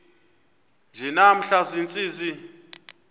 nje namhla ziintsizi